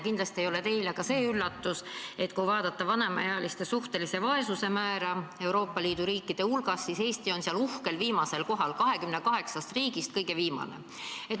Kindlasti ei ole teile üllatus ka see, et kui vaadata vanemaealiste suhtelise vaesuse määra Euroopa Liidu riikides, siis on Eesti seal uhkel viimasel kohal, 28 riigist kõige viimane.